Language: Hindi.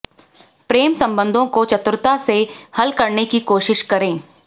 प्रेम संबंधों को चातुरता से हल करने की कोशिश करें